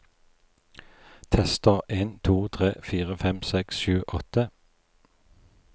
Tester en to tre fire fem seks sju åtte